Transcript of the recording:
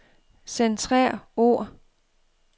Centrer ord.